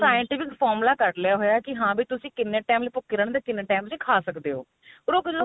scientific formula ਕੱਢ ਲਿਆ ਹੋਇਆ ਹਾਂ ਵੀ ਤੁਸੀਂ ਕਿੰਨੇ ਭੁੱਖੇ ਰਹਿੰਦੇ ਹੋ ਕਿੰਨੇ time ਚ ਤੁਸੀਂ ਖਾ ਸਕਦੇ ਹੋ ਪਰ ਉਹ